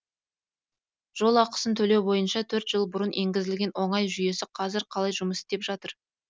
жол ақысын төлеу бойынша төрт жыл бұрын енгізілген оңай жүйесі қазір қалай жұмыс істеп жатыр